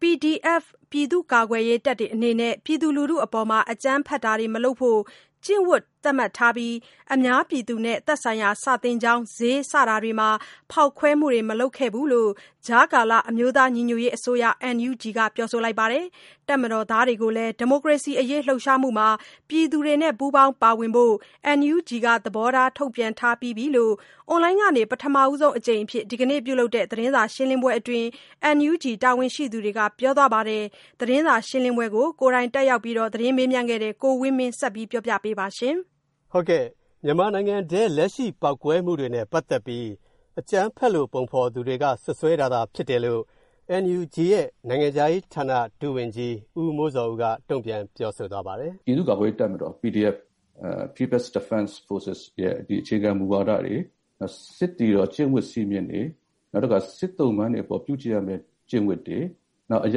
PDF ပြည်သူ့ကာကွယ်ရေးတပ်တွေအနေနဲ့ ပြည်သူလူထုအပေါ် အကြမ်းဖက်တာတွေမလုပ်ဖို့ ကျင့်ဝတ်သတ်မှတ်ထားပြီး အများပြည်သူနဲ့သက်ဆိုင်ရာ စာသင်ကျောင်း ဈေး စတာတွေမှာ ဖောက်ခွဲမူတွေမလုပ်ခဲ့ဘူးလို့ ကြားကာလအမျိုးသားညီညွှတ်ရေးအစိုးရ NUG က ပြောပါတယ်။ တပ်မတော်သားတွေကိုလည်း ဒီမိုကရေစီအရေးလူပ်ရှားမူမှာ ပြည်သူတွေနဲ့ ပူးပေါင်းပါဝင်ဖို့ NUG က သဘောထား ထုတ်ပြန်ထားပြီးပြီလို့ အွန်လိုင်းကနေ ပထမဆုံးအကြိမ်အဖြစ် ဒီကနေ့လုပ်တဲ့ သတင်းစာရှင်းလင်းပွဲအတွင်း NUG တာဝန်ရှိသူတွေကပြောသွားပါတယ်။ သတင်းစာရှင်းလင်းပွဲကို ကိုယ်တိုင်တက်ခဲ့တဲ့ ကိုဝင်းမင်းက ဆက်ပြောပြပါမယ်။ မြန်မာနိုင်ငံတွင်း လက်ရှိပေါက်ကွဲမူတွေနဲပတ်သက်ပြီး အကြမ်းဖက်လို့ ပုံဖော်လိုသူတွေက စွပ်စွဲတာသာဖြစ်တယ်လို့ NUG ရဲ့ နိုင်ငံခြားရေးဌာန ဒုတိယဝန်ကြီး ဦးမိုးဇော်ဦးက တုံ့ပြန်ပြောဆိုသွားပါတယ်။ “ပြည်သူ့ကာကွယ်ရေးတပ်မတော် PDF People’s Defense Forces ရဲ့အခြေခံမူဝါဒတွေ၊ စစ်သည်တော် ကျင့်ဝတ်စည်းမျဉ်းတွေ၊ နောက်တခါ စစ်သုံ့ပန်းတွေအပေါ် ပြုကျင့်ရမယ့်ကျင့်ဝတ်တွေ၊ နောက် အရ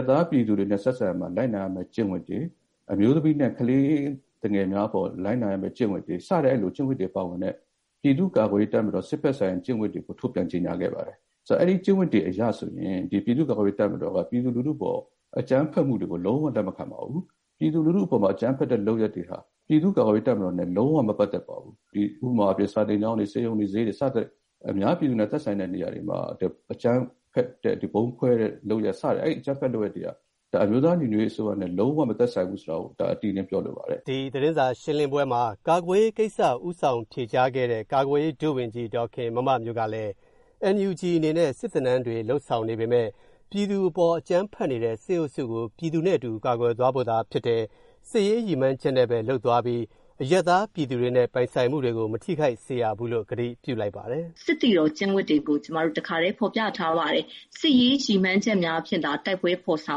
ပ်သားပြည်သူတွေနဲ့ဆက်ဆံရာမှာ လိုက်နာရမယ့်ကျင့်ဝတ်တွေ၊ အမျိုးသမီးနဲ့ကလေးသူငယ်တွေအပေါ်လိုက်နာရမယ့်ကျင့်ဝတ်တွေ စတဲ့ အဲလိုကျင့်ဝတ်တွေပါဝင်တဲ့ ပြည်သူ့ကာကွယ်ရေးတပ်မတော်ရဲ့ စစ်ဘက်ဆိုင်ရာကျင့်ဝတ်တွေကို ထုတ်ပြန်ကြေညာခဲ့ပါတယ်။ အဲဒီကျင့်ဝတ်တွေအရဆိုရင် ပြည်သူ့ကာကွယ်ရေးတပ်မတော်က ပြည်သူလူထုအပေါ်ကို အကြမ်းဖက်မှုတွေကို လုံးဝလက်မခံပါဘူး။ ပြည်သူလူထုအပေါ်မှာ အကြမ်းဖက်တဲ့လုပ်ရပ်တွေဟာ ပြည်သူ့ကာကွယ်ရေးတပ်မတော်နဲ့လုံးဝမပတ်သက်ပါဘူး။ ဥပမာအားဖြင့် - စာသင်ကျောင်းတွေ၊ ဆေးရုံတွေ၊ ဈေးတွေ စသဖြင့် အများပြည်သူနဲ့သက်ဆိုင်တဲ့နေရာတွေမှာ အကြမ်းဖက်တဲ့ ဗုံးခွဲတဲ့ အဲဒီလုပ်ရပ်တွေဟာ အမျိုးသားညီညွတ်ရေးအစိုးရနဲ့ လုံးဝမသက်ဆိုင်ဘူးဆိုတာကို အတိအလင်းပြောလိုပါတယ်။” ဒီသတင်းစာရှင်းပွဲမှာ ကာကွယ်ရေးကိစ္စ ဦးဆောင်ဖြေကြားခဲ့တဲ့ ကာကွယ်ရေး ဒုဝန်ကြီး ဒေါ်ခင်မမမျိုးကလည်း NUG အနေနဲ့ စစ်သင်တန်းတွေလုပ်ဆောင်နေပေမဲ့ ပြည်သူအပေါ်အကြမ်းဖက်နေတဲ့ စစ်အုပ်စုကို ပြည်သူနဲ့အတူကာကွယ်သွားဖို့သာဖြစ်တယ်၊ စစ်ရေးရည်မှန်းချက်နဲ့ပဲလုပ်သွားပြီး အရပ်သားပြည်တွေနဲ့ပိုင်ဆိုင်မူတွေကို မထိခိုက်စေရဘူးလို့ ကတိပြုလိုက်ပါတယ်။ “စစ်သည်တော်ကျင့်ဝတ်တွေကို ကျမတို့ တခါတည်းဖော်ပြထားပါတယ်။ စစ်ရေးရည်မှန်းချက်များအဖြစ်သာ တိုက်ပွဲဖော်ဆော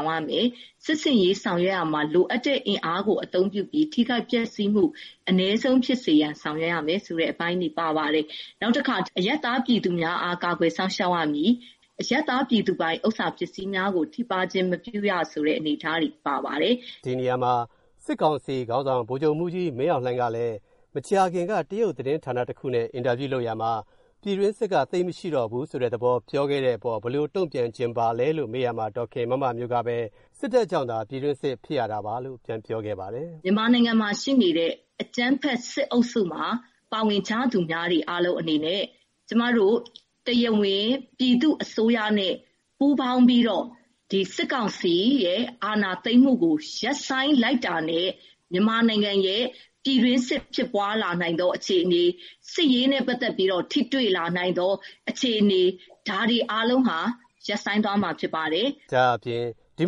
င်ရမယ်။ စစ်ဆင်ရေးဆင်နွဲရာမှာ လိုအပ်တဲ့ အင်အားကိုအသုံးပြုပြီး ထိခိုက်ပျက်စီးမှုအနည်းဆုံးဖြစ်စေရန်ဆောင်ရွက်ရမယ်ဆိုတဲ့ အပိုင်းတွေ ပါပါတယ်။ နောက်တခါ- အရပ်သားပြည်သူများအား ကာကွယ်စောင့်ရှောက်ရမည်၊ အရပ်သားပြည်သူပိုင် ဥစ္စာပစ္စည်းများကို ထိပါးခြင်းမပြုရဆိုတဲ့ အနေအထားတွေ ပါပါတယ်။” ဒီနေရာမှာ စစ်ကောင်စီ ခေါင်းဆောင် ဗိုလ်ချုပ်မှူးကြီးမင်းအောင်လှိုင်က မကြာခင်က တရုတ်သတင်းဌာနတစ်ခုနဲ့ အင်တာဗျူးလုပ်ရာမှာ ပြည်တွင်းစစ်က သိပ်မရှိတော့ဘူးလို့ ပြောခဲ့တဲ့အပေါ် ဘယ်လိုတုံ့ပြန်ချင်ပါလဲလို့ မေးရာမှာ ဒေါ်ခင်မမမျိုးကပဲ စစ်တပ်ကြောင့်သာ ပြည်တွင်းစစ်ဖြစ်ရတာပါလို့ ပြန်ပြောခဲ့ပါတယ်။ “မြန်မာနိုင်ငံမှာရှိနေတဲ့ အကြမ်းဖက်စစ်အုပ်စုမှာ ပါဝင်ကြသူတွေအားလုံးအနေနဲ့ ကျမတို့ တရားဝင်ပြည်သူ့အစိုးရနဲ့ ပူးပေါင်းပြီးတော့ စစ်ကောင်စီရဲ့ အာဏာသိမ်းမှုကို ရပ်ဆိုင်းလိုက်တာနဲ့ မြန်မာနိုင်ငံရဲ့ပြည်တွင်းစစ် ဖြစ်ပွါးလာနိုင်သောအခြေအနေတွေ၊စစ်ရေးနဲ့ပတ်သက်ပြီးတော့ ထိတွေ့လာနိုင်သောအခြေအနေတွေ… ဒါတွေအားလုံးဟာ ရပ်ဆိုင်းသွားမှာဖြစ်ပါတယ်။” ဒါ့အပြင် ဒီ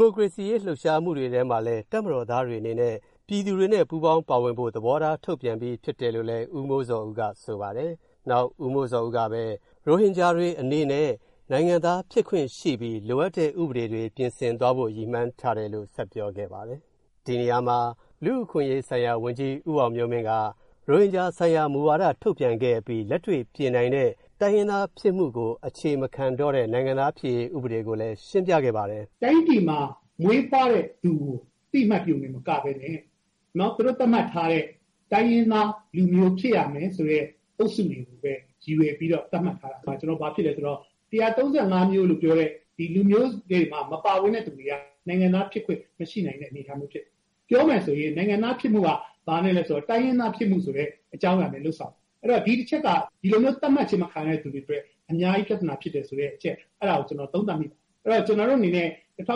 မိုကရေစီရေးလူပ်ရှားမူထဲမှာ တပ်မတော်သားတွေအနေနဲ့ ပြည်သူတွေနဲ့ ပူးပေါင်းပါဝင်ဖို့ သဘောထား ထုတ်ပြန်ပြီးပြီလို့လည်း ဦးမိုးဇော်ဦးကဆိုပါတယ်။ ရိုဟင်ဂျာတွေအနေနဲ့ နိုင်ငံသားဖြစ်ခွင့်ရှိပြီး လိုအပ်တဲ့ ဥပဒေတွေ ပြင်ဆင်သွားဖို့ ရည်မှန်းထားတယ်လို့ ဦးမိုးဇော်ဦးက ဆက်ပြောခဲ့ပါတယ်။ လူ့အခွင့်အရေးဆိုင်ရာဝန်ကြီး ဦးအောင်မျိုးမင်းကလည်း ရိုဟင်ဂျာဆိုင်ရာ မူဝါထုတ်ပြန်ခဲ့အပြီး လက်တွေ့ ပြင်နိုင်တဲ့ တိုင်းရင်းသားဖြစ်မှုကို အခြေမခံတဲ့ နိုင်ငံသားဖြစ်ရေး ဥပဒေကိုလည်း ရှင်းပြခဲ့ပါတယ်။ “တိုင်းပြည်မှာမွေးဖွားတဲ့သူကို အသိအမှတ်ပြုမယ်၊ ကာကွယ်မယ်။ နောက် သူတို့သတ်မှတ်ထားတဲ့ တိုင်းရင်းသားလူမျိုးဖြစ်ရမယ်ဆိုတဲ့….တွေကိုပဲ ရည်ရွယ်ပြီးတော့ သတ်မှတ်ထားတော့ ဘာဖြစ်လဲဆိုတော့….၁၃၅ မျိုးလို့ပြောတဲ့ လူမျိုးစုတွေမှာ မပါဝင်တဲ့သူတွေက နိုင်ငံသားဖြစ်ခွင့် မရှိနိုင်တဲ့ အနေအထားမျိုးဖြစ်တယ်။ ပြောမယ်ဆိုရင် နိုင်ငံသားဖြစ်မှုက တိုင်းရင်းသားဖြစ်မှုဆိုတဲ့အကြောင်းအရာနဲ့လုပ်ဆောင်တယ်။ အဲဒီတော့ ဒီအချက်က ဒီလိုမျိုးသတ်မှတ်ခြင်းမခံရတဲ့သူတွေအတွက် အများကြီးပြဿနာဖြစ်တယ်ဆိုတဲ့အချက်၊ အဲဒါကို ကျနော် သုံးသပ်မိတယ်။ အဲဒီတော့ ကျနော်တို့အနေနဲ့ ၁၉ ၈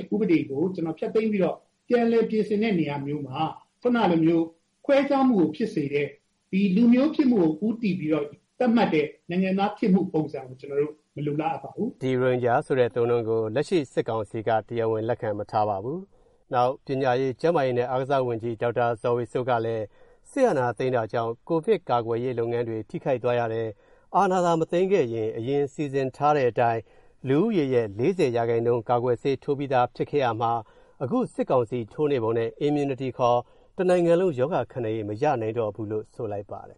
၂ ဥပဒေကိုဖျက်သိမ်းပြီးတော့ ပြန်လည်ပြင်ဆင်တဲ့နေရာမျိုးမှာ အခုနကလိုမျိုး ခွဲခြားမှုကိုဖြစ်စေတဲ့ လူမျိုးဖြစ်မှုကိုဦးတည်ပြီးတော့ သတ်မှတ်တဲ့ နိုင်ငံသားဖြစ်မှုပုံစံကို ကျနော်တို့ မလိုလားအပ်ပါဘူး။” ရိုဟင်ဂျာဆိုတဲ့အသုံးအနှုန်းကို လက်ရှိစစ်ကောင်စီက တရားဝင်လက်ခံမထားပါဘူး။ ပညာရေး၊ ကျန်းမာရေးနဲ့ အားကစားဝန်ကြီး ဒေါက်တာ ဇော်ဝေစိုးကလည်း၊ စစ်အာဏာသိမ်း တာ ကြောင့် ကိုဗစ်ကာကွယ်ရေးလုပ်ငန်းတွေထိခိုက်သွားရတယ်၊ အာဏာသာမသိမ်းခဲ့ရင် အရင်စီစဉ် ထားတဲ့အတိုင်း လူဦးရေ ၄၀% ဆေးထိုးပြီးသားဖြစ်ခဲ့ရမှာ၊ အခု စစ်ကောင်စီထိုးနေပုံနဲ့ Immunity တနိုင်ငံလုံးရောဂါခံနိုင်ရည် မရနိုင်တော့ဘူးလို့ ဆိုလိုက်ပါတယ်